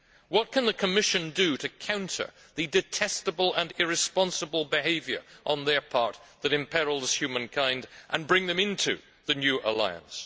What can the Commission do to counter the detestable and irresponsible behaviour on their part that imperils humankind and bring them into the new alliance?